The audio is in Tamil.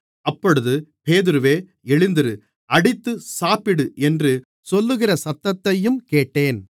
அப்பொழுது பேதுருவே எழுந்திரு அடித்து சாப்பிடு என்று சொல்லுகிற சத்தத்தையும் கேட்டேன்